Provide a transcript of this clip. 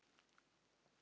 Oft tókum við spil.